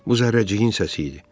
Bu zərrəciyin səsi idi.